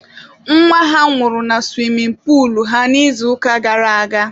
Nwa ha nwụrụ na suwimin puulu ha n'izuụka gara aga.